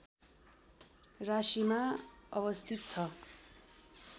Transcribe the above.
राशीमा अवस्थित छ